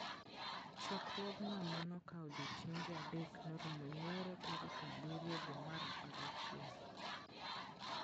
Chokruogno ma nokawo odiechienge adek norumo nyoro tarik abirio dwe mar apar gachiel.